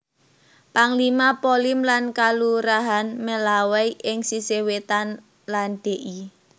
Panglima Polim lan Kalurahan Melawai ing sisih wétan lan Dl